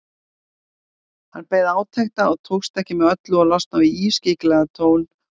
Hann beið átekta og tókst ekki með öllu að losna við ískyggilegan tón úr röddinni.